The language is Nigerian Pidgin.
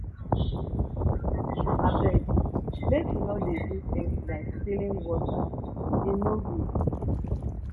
abeg make we no dey do things like stealing water e no good